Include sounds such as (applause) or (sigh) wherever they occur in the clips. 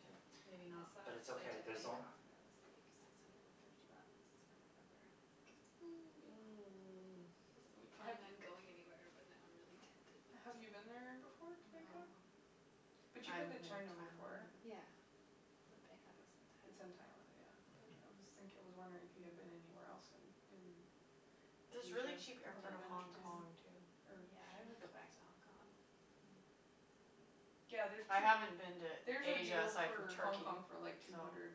Yeah, Maybe not. I saw but a it's flight okay, to there's Bangkok that was like six hundred and fifty bucks for November and I was like (noise) (noise) I wasn't really planning on going anywhere, but now I'm really tempted. Have you been there before, to No. Bangkok? I But you've haven't been to been to Thailand China before. either. Yeah. But Bangkok is It's in in Thailand. Thailand, yeah, but I was thinking, I was wondering (laughs) if you had been anywhere else in in There's really Asia cheap air fare to Hong Kong, too. Yeah, I would go back to Hong Kong. Mm. (inaudible) Yeah, there's I to haven't been to There's a Asia deal aside from for Hong Turkey, Kong for, like, two so. hundred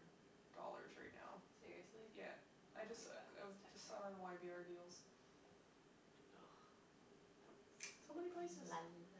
dollars right now. Seriously? Yeah. I I like just it. I That's just saw it tempting. on y b r deals. (noise) So many places. La la la la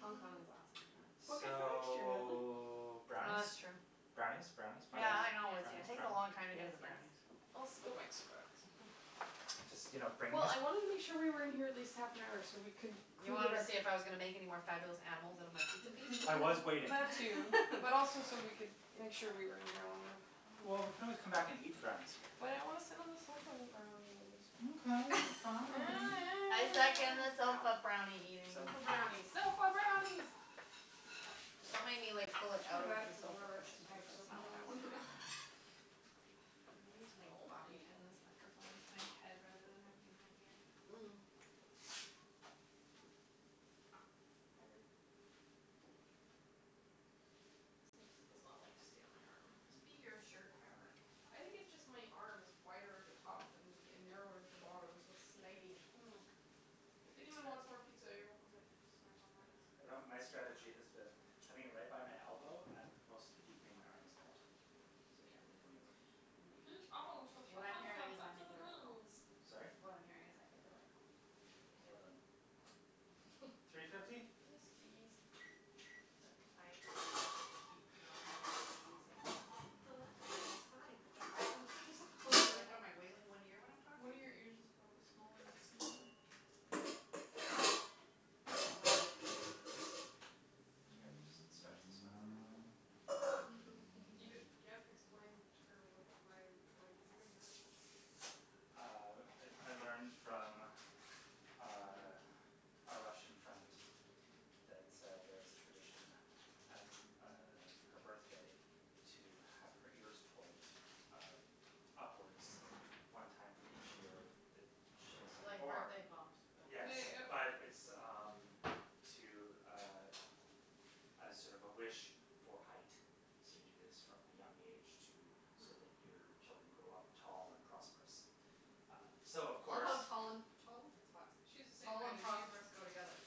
la. Hong Kong is awesome, though. Book it for next year, Natalie. So, Oh, that's brownies? true. Brownies, brownies, brownies, Yeah, I Yes, know. It's brownies, yes, taking a brownies? long yes, time to get to the yes. brownies. (inaudible) go make some brownies. (laughs) Just, you know, bring Well, this. I wanted to make sure we were in here at least half an hour so we can You wanted to see if I was gonna make (inaudible) any more fabulous animals out of my pizza piece? I was waiting. That too, but also (laughs) so (laughs) we could make sure we were in here long enough. Well, we could always come back and eat the brownies here. But I want to sit on the sofa and eat brownies. (laughs) Okay, fine. I second the sofa brownie eating. Sofa brownies, sofa brownies! Just don't make me, like, pull I it feel out of bad the for sofa whoever has cushion to cuz type that's sofa not what I brownies wanna now. do. (laughs) I need to, like, Oh, I bobby need pin help this again. microphone to my head rather than having it in my ear. Mm. (noise) Higher. Thank you. This thing just does not like to stay on my arm. It must be your shirt fabric. I think it's just my arm is wider at the top than and narrower at the bottom so it's sliding. Mm. If anyone wants more pizza, you're welcome to snack on mine. (inaudible) my strategy has been having it right by my elbow and most of the evening my arm is bent, so it can't really go anywhere. Mm. Heat oven to three What I'm hundred hearing and is I fifty made the right call. degrees. Sorry? What I'm hearing is I made the right call. I think you did. Well done. (laughs) Three Except fifty? Yes, please. I keep not having using The left one is fine, but the right one keeps (laughs) (inaudible) falling. in one ear when I'm talking? One of your ears is probably smaller (inaudible) (inaudible) Here, we'll just stretch this one out a little bit. (laughs) (laughs) You you have to explain to her what why why you're doing that. Uh, I I learned from uh a Russian friend that uh there's a tradition at uh her birthday to have her ears pulled uh upwards one time for each year that she's Like born. birthday bumps but Yes, but it's, um, to, uh, as sort of a wish for height. So, you do this from a young age to so that your children Mm. grow up tall and prosperous. Um so of I love course how tall and tall? That's hot. She's the same Tall height and as you. prosperous go together.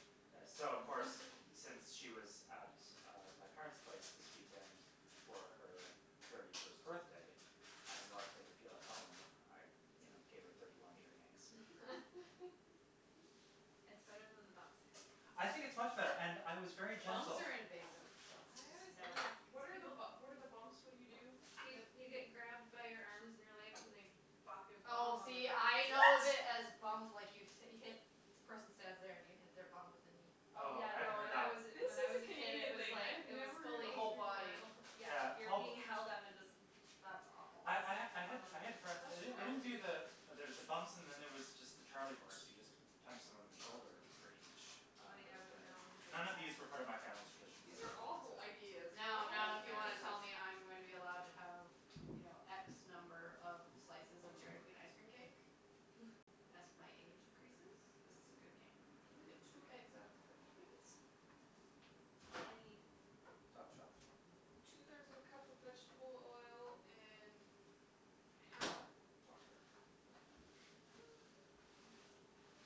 So, of course, (laughs) since she was at uh my parents' place this weekend for her thirty first birthday and we wanted to make her feel at home, I you know, gave her thirty one ear yanks. (laughs) That's better than the bumps, I have to say. I think it's much better, and I was very Bumps gentle. are invasive. That's I always just no. hated What because are, people what are the bumps? What do you do? You you get grabbed by your arms and your legs and they bop your bum Oh, on the see, I know ground. it as What? bum, like, you hit, the person stands there and you hit their bum with a knee. Oh, Oh, yeah, I haven't no, heard when that I was one. This when is I was a a kid it Canadian was thing. I like, have it was never heard The of fully this whole before. body. Oh, yeah, Yeah you're being held up and just (inaudible) That's awful. I I ha- I had I had friends, they don't they don't do the (inaudible) there's the bumps and then there was just the charlie horse; you just punch someone in the shoulder for each uh Oh, yeah, I birthday. remember we would do None of these that. refer to my family's traditions These are awful Yeah. ideas. (inaudible) Now, Why now, if would you you do want to this? tell me I'm going to be allowed to have, you know, x number of slices of Dairy Queen ice cream cake (laughs) as my age increases, this is a good game. Can you get two eggs out of the fridge, please? I need Top shelf. Two Hm. thirds of a cup of vegetable oil and half a cup of water. (inaudible)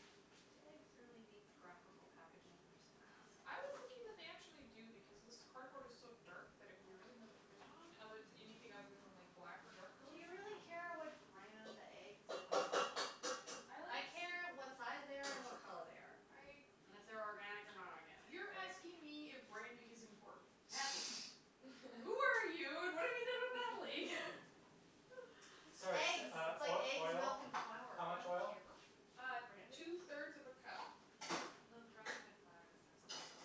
Do eggs really need graphical packaging? I'm just gonna ask. I was thinking that they actually do because this cardboard is so dark that it would be really hard to print on, other anything other than the like black or dark Do colors. you really care what brand the eggs you're buying? I care what size they (inaudible) are and what color they are. And I. if they're organic or not organic. You're asking me if branding is important? Natalie. Who are (laughs) you and what have you done with Natalie? (laughs) Sorry, (laughs) Eggs; uh, it's like uh, eggs, oil, milk and flour. how I don't much oil? care what brand (inaudible) it two is. thirds of a cup. Though the Robin Hood flour does have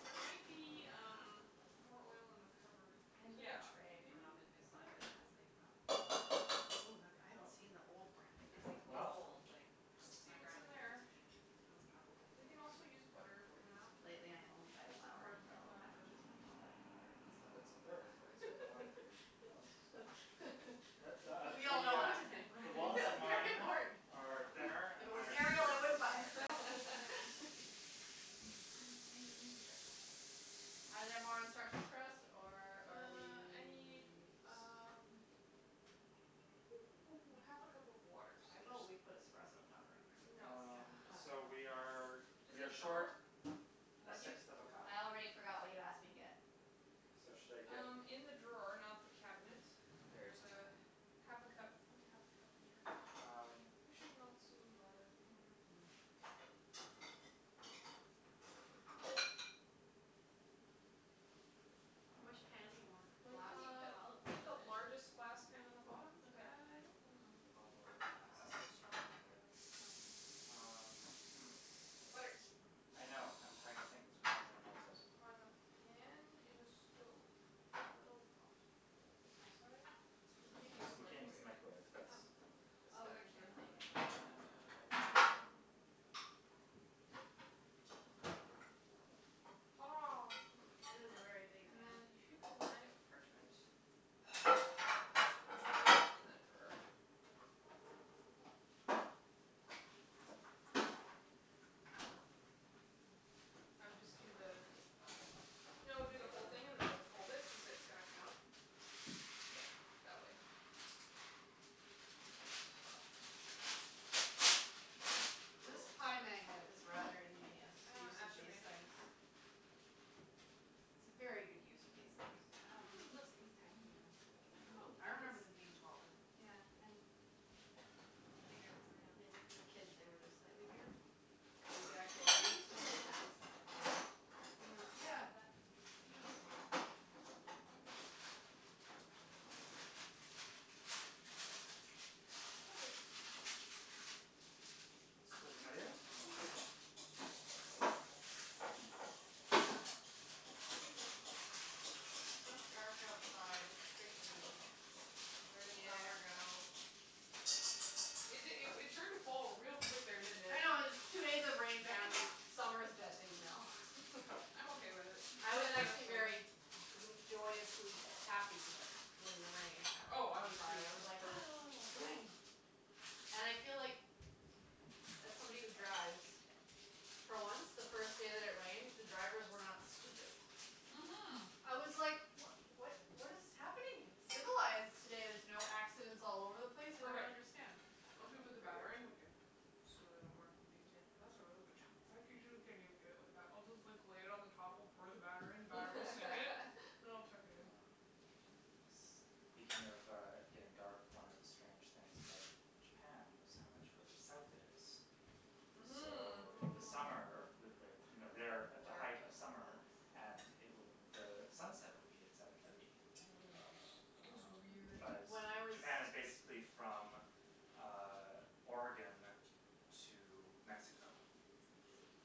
There (inaudible) might be, um, more oil in Yeah. the cupboard. I have like Yeah, a tray from maybe. Robin Is Hood (inaudible) that there? it has like Robin Hood. Oh, that would, I haven't No. seen the old branding. It's , That'd like, be Well? cool. old, like, Let's see my what's in grandma gave it there. to me. Oh It's probably it's like We can probably from also the use (inaudible) butter if we forties run or out. Lately something. I only buy That's a flour quarter in cup, yellow not a third. packages with Helvetica lettering, so. That's a third. Oh, It's is it? got the one three. Oh, it's so small. (laughs) We all The, know what uh, I'm saying. the walls of That's very mine important. are thinner, If it and mine was are deeper Arial, I than wouldn't yours. buy it (laughs) (laughs) (noise) Are there more instructions for us, or are Uh, I need, we? um (noise) half a cup of water, so How there's. about we put espresso powder in there? No, Um, no. so we are (noise) Yes. we are (inaudible) short drawer? a What'd you? sixth of a cup. I already forgot what you asked me to get. So, should I get? Um, in the drawer, not the cabinet there's half a cup. Find a half a cup measure. Um. We should melt some butter, yeah. (noise) Which pan do you Uh want? Well, you Glass? can Uh, put olive get the oil in it. largest glass pan in the bottom. I don't want Okay. to put olive oil cuz it's so strong flavored. Oh. Um, hm. Butter. I know, I'm trying to think how I'm going to melt it. On the pan, in the stove, in a little pot. Microwave? We can't use the (inaudible) we can't use microwave. the microwave, that's Oh. It's Oh, got a cuz the camera thing is on it, on it. yeah. Hurrah. It is a very big And pan. then if you can line it with parchment. Where's There is the parchment in parchment? that drawer. I would just do the Just the bottom? No, do the whole thing and then we'll fold it cuz it's gonna come up. Yeah, that way. Yes. This Cool. pie magnet is rather ingenious, (inaudible) Uh (inaudible) made it. things. It's a very good use of these things. Wow, they make Mhm. those things tiny now. Can I I have remember them a being whisk? taller. Yeah, and bigger around. Maybe for kids they were just slightly bigger? You could actually Well, they're breathe through usually, the like, middle. that size. Yeah, yeah, yeah. Perfect. (inaudible) my dear. It's so dark outside, it's creepy. Where did summer Yeah. go? It it it turned to fall real quick there, didn't it? I know, it's two days of rain, bam, summer's dead to me now. I'm okay with it (laughs) I was actually very (inaudible) gr- joyously happy when the rain happened Oh, I on was, too, Friday. I I was was like, thrilled. "Ah, rain." And I feel like, as somebody who drives, for once, the first day that it rained, the drivers were not stupid. Mhm. I was like, what what what is happening? It's civilized today, there's no accidents all over the place, I don't Perfect. understand. Once we put the batter Weird. in, we can smooth it out more; it'll be easier. That's a really good job. I (inaudible) get it like that. I'll just like lay it on the top or pour the batter in, the batter will sink it and (laughs) I'll tuck it in. Um, is speaking of uh getting dark, one of the strange things about Japan was how much further south it is. Mhm. So the summer, (noise) with like, you know Dark. they're at the height of summer and it would, sunset would be at seven thirty. (inaudible) Mm. It was Um, weird. but When I was Japan is basically from um Oregon to Mexico.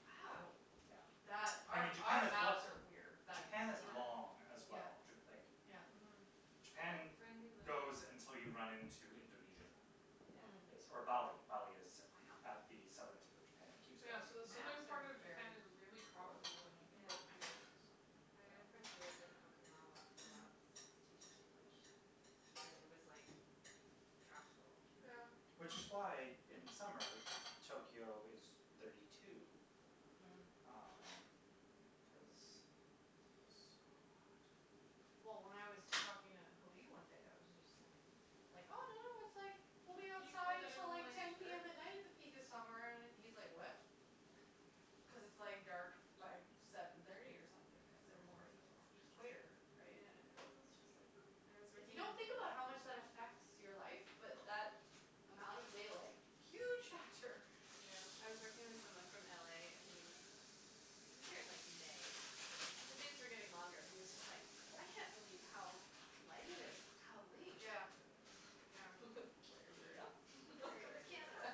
Wow. Yeah. That I our mean, Japan our is maps are weird. (inaudible) Japan is long as Yeah, well. Like yeah. Mhm. Japan goes until you run into Indonesia Mm. base or Wow. Bali. Bali is at the southern tip of Japan. It keeps Yeah, so the southern Maps are part of very Japan is really (inaudible) poorly tropical, like, you designed. can grow Yeah. pineapples and stuff there. I had a friend who lived Yeah. in Okinawa for a Mhm. while cuz he was teaching English and it was like tropical. Yeah. Yeah. Which is why in Hm. summer, Tokyo is thirty two, Mm. um, cuz It was so hot. Well, when I was talking to Halib one day, I was just saying, like, oh, no, no, it's like we'll be outside till like ten PM at night at the peak of summer, and he's like, what? Cuz it's like dark by seven thirty or something cuz they're more e- equator, right? Yeah. It's Thank just like (noise) I was If you working in don't you. think about how much that affects (inaudible) your life but that amount of daylight, huge factor. I Yeah. was working with someone from LA and he was, he was here in, like, May, but the days were getting longer and he was just like, I can't believe how light it is how late. Yeah, yeah. (laughs) Very weird. Yep, (laughs) Very, welcome very to weird. Canada.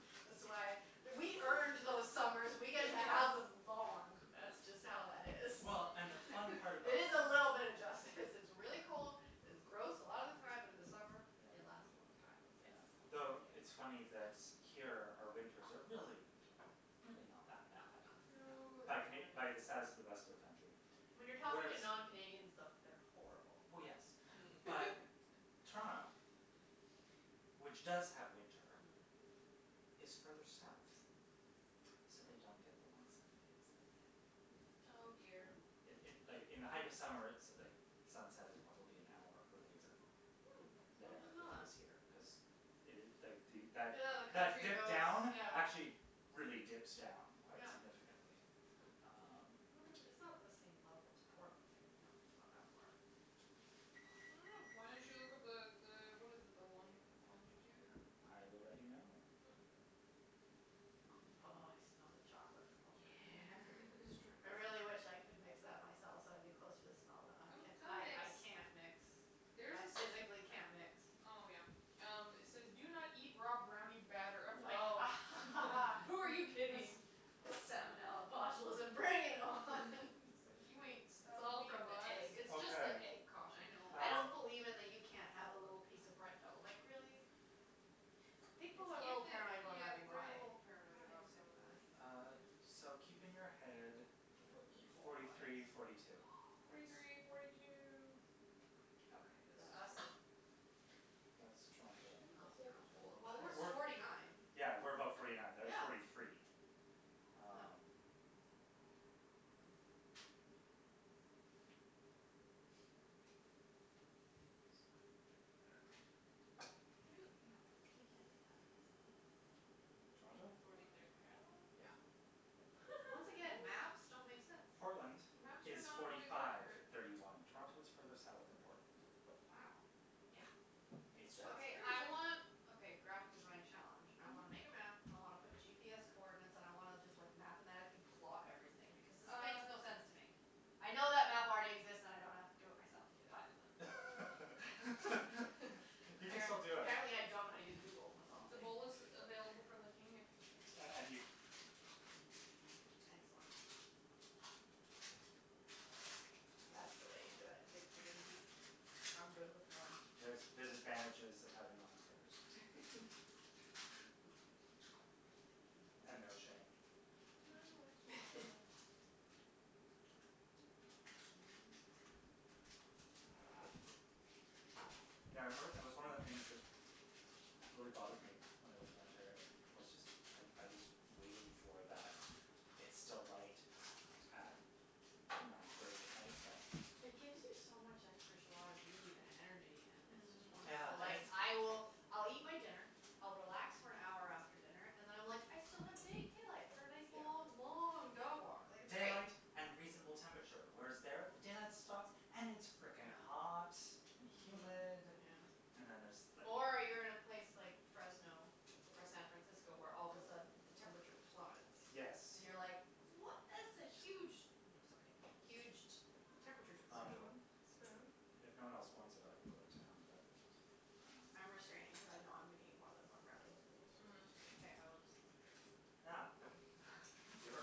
(laughs) That's why we earned those summers. We get to have them long, that's just how that is. Well, and the Mm. fun (laughs) part about It is a little bit of justice. This is really cold, it's gross a lotta time, but in the summer Yeah. they last a long time. Yeah. Yes. The it's funny that here our winters are really, really not that No, bad. not that bad. No, No. By Cana- they're , by the fine. status of the rest of the country, When you're talking whereas to non Canadians, though, they're horrible. Well, yes, Mm. but (laughs) Toronto, which does have winter, Mm. is further south, so they don't get the long summer days that we have. Oh, dear. In Wow. in like, in the height of summer, so like the sunset is probably an hour earlier Hm, I there didn't than know it that. is here. Hm. Cuz Yeah, the country (inaudible) goes, down, yeah. actually really dips down quite Yeah. significantly, um. I Hm. wonder if it, it's not the same level as Portland. Like it not (inaudible) I don't know. Why don't you look up the the, what is it, the long- the longitude? I will let you know. Hm. Oh, I smell the chocolate from over Yeah, here. just trying to make I sure. really wish I (laughs) could mix that myself so I'd be closer to smell that. Come, come I mix. I can't mix. There's I this. physically can't mix. Oh, yeah. Um, it says do not eat raw brownie batter. I'm like a Oh. ha ha ha, who are you (laughs) kidding? Salmonella, botulism, bring it on It's (laughs) like, you ain't It's stopping all me, from the box. egg. It's just the Okay. egg caution. I know. I don't Um believe in the you can't have a little piece of bread dough. Like, really? People are a If little they, paranoid about yeah, having raw they're a egg. little paranoid Raw about eggs are salmonella. fine. Uh, so keep in your head People eat whole forty raw three, eggs. forty two. Forty three, forty two. Forty two. Okay, Is this is that us? ready for it. That's Oh, Would you be Toronto. able to it's hold the bowl Toronto. Well, we're forty nine. (inaudible) Yeah, we're above forty nine. They're at forty Yeah. three. No. Um. Hm. This is quite a thick batter. They, no, they can't be that far south. Toronto? Forty third parallel? Yeah. Once again, maps don't Really? make sense. Portland Maps are is not forty always five, accurate. thirty one. Toronto is further south than Portland. Wow. Yeah. That's That's It's south. Okay. fascinating. I that's want, (inaudible) okay, graphic design challenge. I Mhm. wanna make a map, I wanna put GPS coordinates and I wanna just, like, mathematically plot everything because this makes Uh. no sense to me. I know that map already exists and I don't have to do it Get out for then. myself, (laughs) but (laughs) You can App- still do it. apparently I don't know how to use Google, that's all I'm The saying. bowl is available for licking if you should. And and you Mm, excellent. That's the way you do it. Nice, the Mhm. big (inaudible) I'm good with one. There's, there's advantages of having long fingers. (laughs) And no shame. (laughs) I've no Mhm. (laughs) shame. Mhm. (noise) Yeah, I remember, it was one of the things that really bothered me when I lived in Ontario was just I I was waiting for that it's still light at nine thirty at night thing. It gives you so much extra jois de vivre and energy and it's just Yeah, Mm. wonderful. I Like, I will, I'll eat my dinner, I'll relax for an hour after dinner and then I'm like, I still have da- daylight for a nice Yeah. long, long dog walk, like, it's Daylight night. and reasonable temperature. Whereas there, the daylight stops and it's frickin' Yeah. hot and humid Mm. Yeah. and then there's, like. Or you're in a place like Fresno or San Francisco, where all of a sudden the temperature plummets. Yes. And you're, like, what is the huge No, it's okay. Huge t- temperature Um, differential. Spoon, spoon? if no one else wants it, I will go to town, but um I'm restraining cuz I know I'm gonna eat more than one brownie. Mhm. Okay, I will just lick the Yeah, spoon. good. Giver.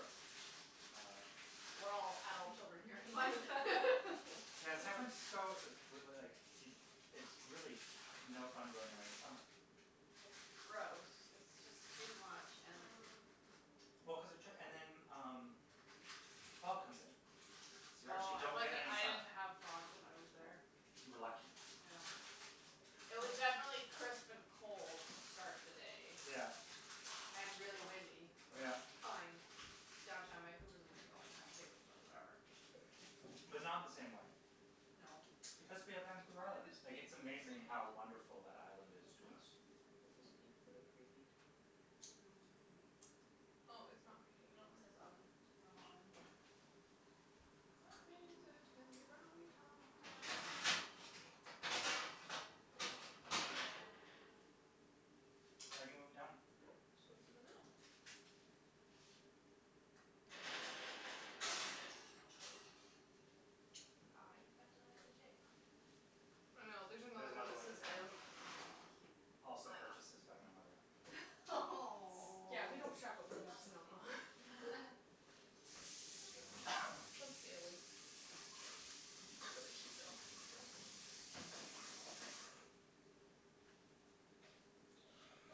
Uh. We're all adult children here, like (laughs) Yeah, San Francisco is like, it it's really no fun going there in the summer. It's gross. It's just too much, and Mm. Well, cuz it took, and then, um, the fog comes in, so you actually Oh, it don't get wasn't, any it sun. didn't have fog when I was there. You were lucky. Yeah. It was definitely crisp and cold to start the day. Yeah. And really windy, which Yeah. fine. Downtown Vancouver is windy all the time, too, so whatever. But not in the same way. No. Because we have Vancouver Do Island. these Like, beep it's for the amazing preheat? how wonderful that island is to Hm? us. Do these beep for the preheat? Mm. Oh, it's not preheating No, it anymore, says oven, okay. normal oven. That means it can be brownie Brownie time. time. I already moved it down. So it's in the middle. Aw, your spatula has a J on it. I know, there's There's another one another that one says with an M. M. Cute. Also purchases by my mother. S- yeah, we don't shop at (laughs) Williams Sonoma. (laughs) Just daily. They're really cute, though.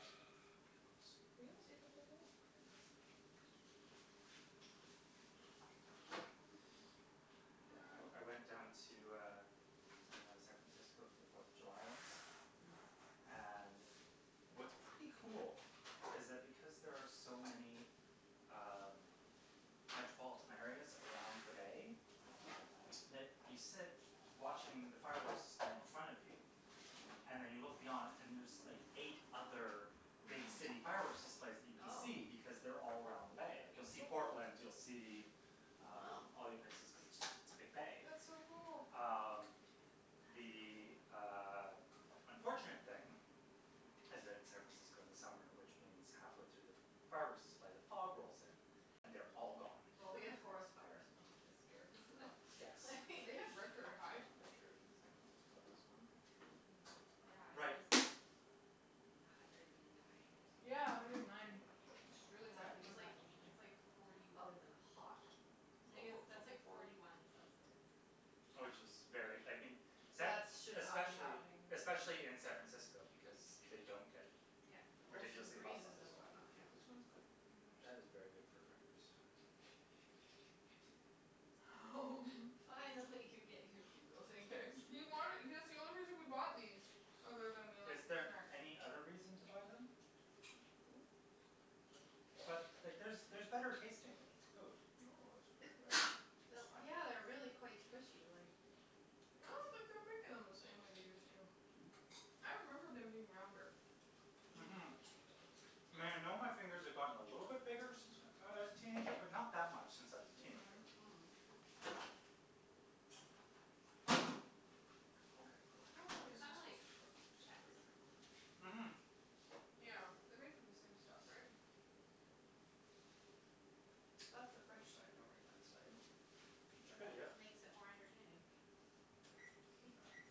Ah, Bugles. We almost ate the whole bowl. Pretty impressive. Mm. (noise) Yeah, I I went down to, uh, San Francisco for the Fourth of July once. Mm. And what's pretty cool is that because there are so many um metropolitan areas around the bay, that you sit watching the fireworks display in front of you And Mm. then you look beyond and there's like eight other big city fireworks displays that you (laughs) can Oh. see because they're all around the bay. Like, you'll see Portland, you'll see um Wow. all the other places cuz it's just it's a big bay. That's so cool. Uh, That's the, cool. uh, unfortunate thing is that it's San Francisco in the summer, which means halfway through the fireworks display, the fog rolls in and they're all gone. Well, we have forest fires month this year, so Yes. (laughs) They have record high temperatures in San Francisco this month, actually. Mm. Yeah, it Right. was like a hundred and nine or something, Yeah, a like, hundred and nine, Fahrenheit. which is really high That Which Yeah. for. means is like, nothing to it's me. like forty Other than hot Tha- that's (inaudible) like forty. forty one Celsius. Which is very, I mean, San That is should not be Especially, happening. especially in San Francisco because they don't get Yeah. Ocean ridiculously hot breezes summers. and whatnot, yeah. This one's good for fingers. That is very good for fingers. (laughs) Fine, I'll let you get your Bugle fingers. He wanted. That's the only reason we bought these, other than we Is like snacks. there any other reason to buy them? (inaudible) But, like, there's there's better tasting food. No, it's really good. Yeah, they're really quite squishy, like (inaudible) I don't think they're making them the same way they used to. I remember them being rounder. Mhm. Mhm. I know my fingers have gotten a little bit bigger since I was a teenager, but not that much since I was a teenager. Mm. (inaudible) Mm. Okay, how Mm, long they are are these kinda like supposed to cook? I should put a (inaudible) timer on. Mhm. Yeah, they're made from the same stuff, right? That's the French side, don't read that side. It just makes it (inaudible) more entertaining.